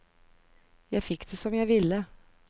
Jeg fikk det som jeg ville.